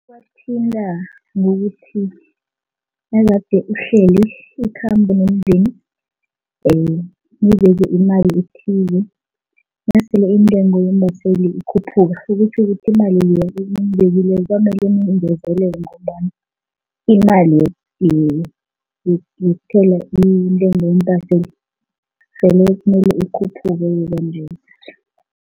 Iwathinta ngokuthi nagade uhlele ikhambo nomndeni mibeke imali ethize, nasele iintengo yeembaseli ikhuphuka okutjho ukuthi imali leya eniyibekileko kwamele niyingezelele ngombana imali yokuthela intengo yeembaseli sele kumele ikhuphuke-ke kwanje.